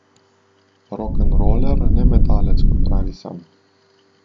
Rokenroler, ne metalec, kot pravi sam.